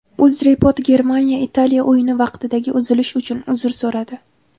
UzReport Germaniya Italiya o‘yini vaqtidagi uzilish uchun uzr so‘radi.